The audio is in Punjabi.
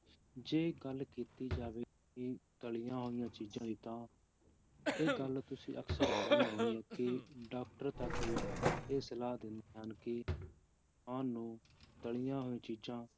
ਜੇ ਗੱਲ ਕੀਤੀ ਜਾਵੇ ਇਹ ਤਲੀਆਂ ਹੋਈਆਂ ਚੀਜ਼ਾਂ ਦੀ ਤਾਂ, ਇਹ ਗੱਲ ਤੁਸੀਂ ਅਕਸਰ ਸੁਣੀ ਹੋਣੀ ਹੈ ਕਿ doctor ਤੱਕ ਵੀ ਇਹ ਸਲਾਹ ਦਿੰਦੇ ਹਨ ਕਿ ਇਨਸਾਨ ਨੂੰ ਤਲੀਆਂ ਹੋਈਆਂ ਚੀਜ਼ਾਂ